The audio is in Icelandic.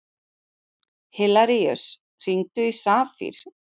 Hilaríus, hringdu í Safír.